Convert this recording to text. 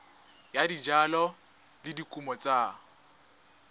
ya dijalo le dikumo tsa